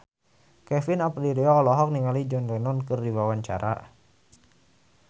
Kevin Aprilio olohok ningali John Lennon keur diwawancara